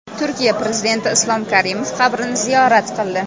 Turkiya prezidenti Islom Karimov qabrini ziyorat qildi .